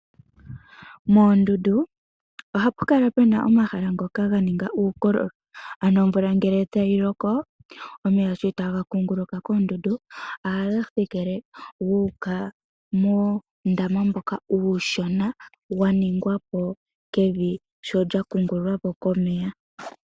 Moondundu ohamu kala mu na omahala ngoka ganika uukololo. Ano omvula ngele tayi loko, omeya shotaga kuunguluka koondundu ohaga thikile guuka muundama mboka uushona wa ningwa po kevi sholya kuungululwa po komeya.